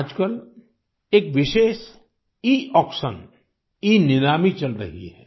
आजकल एक विशेष Eऑक्शन ईनीलामी चल रही है